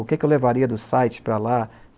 O que eu levaria do site para lá?